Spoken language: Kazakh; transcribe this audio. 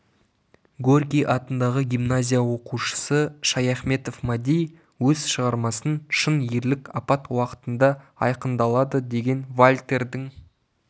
горький атындағы гимназия оқушысы шаяхметов мади өз шығармасын шын ерлік апат уақытында айқындалады деген вальтердің